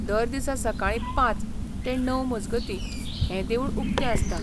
दर दिसा सकाळीं पांच ते णव मजगतीं हें देवूळ उक्तें आसता.